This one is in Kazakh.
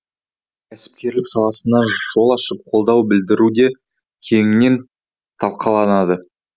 кәсіпкерлік саласына жол ашып қолдау білдіру де кеңінен талқыланды